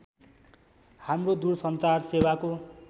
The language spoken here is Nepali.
हाम्रो दूरसञ्चार सेवाको